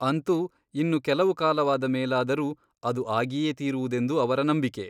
ಅಂತೂ ಇನ್ನು ಕೆಲವು ಕಾಲವಾದ ಮೇಲಾದರೂ ಅದು ಆಗಿಯೇ ತೀರುವುದೆಂದು ಅವರ ನಂಬಿಕೆ.